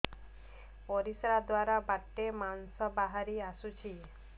ପରିଶ୍ରା ଦ୍ୱାର ବାଟେ ମାଂସ ବାହାରି ଆସୁଛି